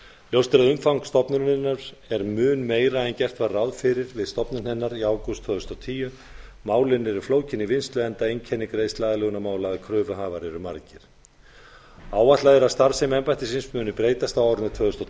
ljóst er að umfang stofnunarinnar er mun meira en gert var ráð fyrir við stofnun hennar í ágúst tvö þúsund og tíu málin eru flókin í vinnslu enda einkenni greiðsluaðlögunarmála að kröfuhafar eru margir áætlað er að starfsemi embættisins muni breytast á árinu tvö þúsund og